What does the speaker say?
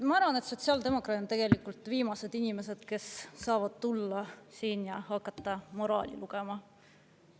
Ma arvan, et sotsiaaldemokraadid on tegelikult viimased inimesed, kes saavad tulla ja hakata siin moraali lugema.